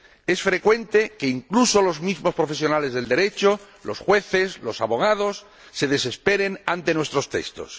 Es frecuente que incluso los mismos profesionales del Derecho —los jueces, los abogados— se desesperen ante nuestros textos.